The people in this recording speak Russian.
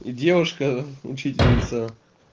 и девушка учительница